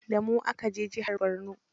Da mu aka je jihar Borno.